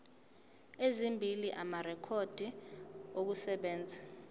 ezimbili amarekhodi okusebenza